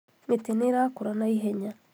Mĩtĩ nĩĩrakũra na ihenya